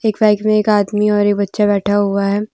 Bike में एक आदमी और एक बच्चा बैठा हुआ है।